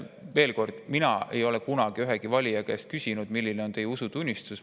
Veel kord: mina ei ole kunagi ühegi valija käest küsinud, milline on tema usutunnistus.